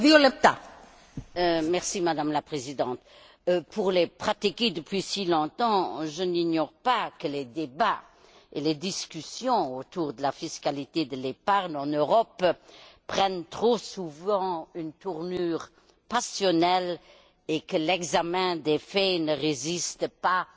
Madame la Présidente, pour les pratiquer depuis si longtemps, je n'ignore pas que les débats et les discussions autour de la fiscalité de l'épargne en Europe prennent trop souvent une tournure passionnelle et que l'examen des faits ne résiste pas aux idées toutes faites.